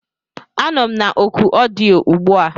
Anọ m na oku ọdịyo ugbu a.